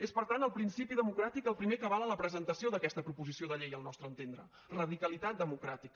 és per tant el principi democràtic el primer que avala la presentació d’aquesta proposició de llei al nostre entendre radicalitat democràtica